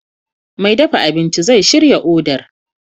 Mai dafa abinci zai shirya odar